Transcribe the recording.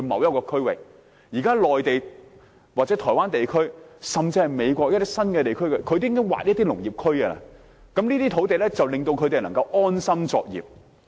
現時在內地、台灣，甚至是美國的一些新地區，當局也會劃出農業區，他們可以在這些土地安心作業。